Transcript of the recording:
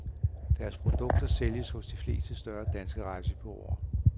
Deres produkter sælges hos de fleste større danske rejsebureauer.